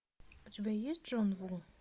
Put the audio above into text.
у тебя есть джон ву